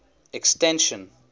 extension